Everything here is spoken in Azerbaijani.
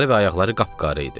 Qolları və ayaqları qapqara idi.